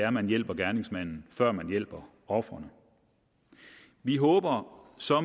at man hjælper gerningsmanden før man hjælper offeret vi håber så at